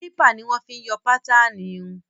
Kílípà ni wọn fi ń yọ pátaanù irun.